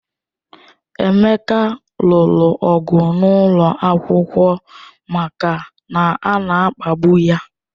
Emeka lụrụ ọgụ n'ụlọ akwụkwọ maka na ana-akpagbu ya.